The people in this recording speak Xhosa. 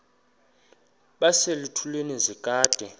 base zitulmeni zedaka